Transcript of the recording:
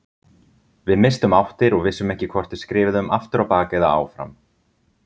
Við misstum áttir og vissum ekki hvort við skriðum aftur á bak eða áfram.